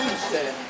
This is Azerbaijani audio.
Nə işdir?